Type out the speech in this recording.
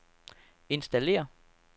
installér